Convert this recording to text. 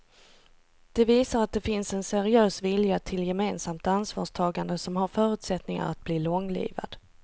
Det visar att det finns en seriös vilja till gemensamt ansvarstagande som har förutsättningar att bli långlivad.